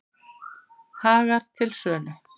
Hagar til sölu